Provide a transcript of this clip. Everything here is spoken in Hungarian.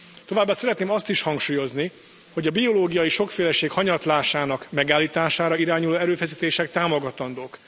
Továbbá szeretném azt is hangsúlyozni, hogy a biológiai sokféleség hanyatlásának megállítására irányuló erőfeszítések támogatandók.